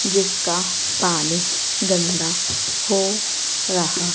जिसका पानी गंदा हो रहा--